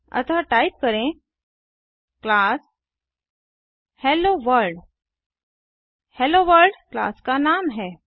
अतः टाइप करें class hello world hello world class का नाम है